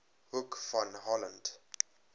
hoek van holland